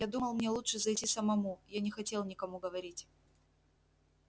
я думал мне лучше зайти самому я не хотел никому говорить